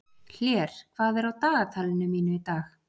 Hlér, hvað er á dagatalinu mínu í dag?